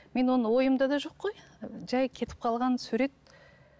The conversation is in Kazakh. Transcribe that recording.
мен оны ойымда да жоқ қой жай кетіп қалған сурет